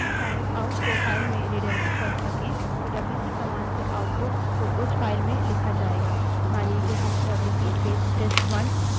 लेकिन यदि हम standardout आउट stdout को file में redirect कर सके तो डब्ल्यूसी command से output को उस file में लिखा जायेगा